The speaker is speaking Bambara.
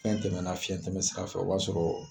Fɛn tɛmɛn na fiyɛn tɛmɛn sira fɛ o b'a sɔrɔ